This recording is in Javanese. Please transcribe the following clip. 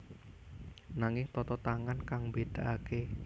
Nanging tata tangan kang mbédakaké